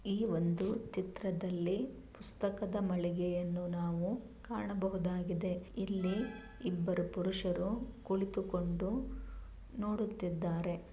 ಈ ಒಂದು ಚಿತ್ರದಲ್ಲಿ ಪುಸ್ತಕದ ಮಳಿಗೆಯನ್ನು ನಾವು ಕಾಣಬಹುದಾಗಿದೆ ಇಲ್ಲಿ ಇಬ್ಬರು ಪುರುಷರು ಕುಳಿತುಕೊಂಡು ನೋಡುತ್ತಿದ್ದಾರೆ.